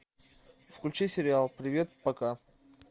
включи сериал привет пока